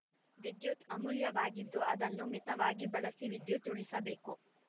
ವಿದ್ಯುತ್‌ ಅಮೂಲ್ಯವಾಗಿದ್ದು ಅದನ್ನು ಮಿತವಾಗಿ ಬಳಸಿ ವಿದ್ಯುತ್‌ ಉಳಿಸಬೇಕು